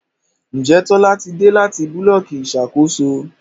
Njé Tola tí dé láti Búlọ̀kì Ìṣàkóso?